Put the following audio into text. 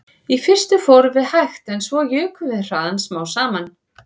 Í fyrstu fórum við hægt en svo jukum við hraðann smám saman